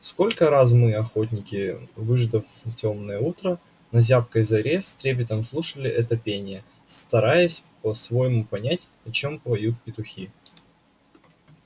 сколько раз мы охотники выждав тёмное утро на зябкой заре с трепетом слушали это пение стараясь по-своему понять о чем поют петухи